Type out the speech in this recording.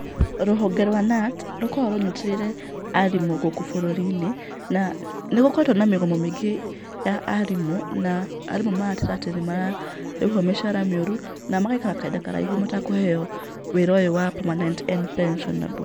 Rũhonge rwa KNUT rũkoragwo rũnyitĩrĩire arimũ gũkũ bũrũri-inĩ, na nĩ gũkoretwo na mĩgomo mĩingĩ ya arimũ na arimũ magateta atĩ nĩ mararĩhwo mĩcara mĩũru na magaikara kahinda karaihu matekũheo wĩra ũyũ wa permanent and pensionable.